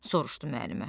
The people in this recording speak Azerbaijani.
soruşdu müəllimə.